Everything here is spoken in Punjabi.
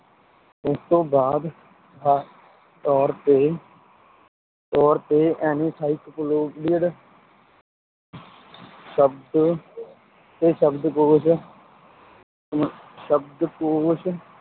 ਉਸ ਤੋਂ ਬਾਅਦ ਤੌਰ ਤੇ ਤੌਰ ਤੇ encyclopedia ਸ਼ਬਦ ਤੇ ਸ਼ਬਦਕੋਸ਼ ਸ਼ਬਦਕੋਸ਼